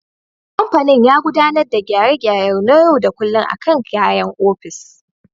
Kamfanin ya gudanar da gyare-gyare na yau da kullum akan kayan ofis.